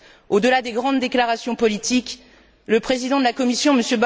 Au delà des grandes déclarations politiques, le président de la Commission, M.